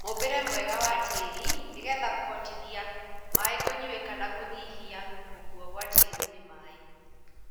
Mũmbĩre mwega wa tĩri nĩgetha kũhotithia maĩ kũnyuĩka na kũnyihia gũkuo gwa tĩri nĩ maĩ.